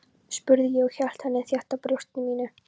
spurði ég og hélt henni þétt að brjósti mínu.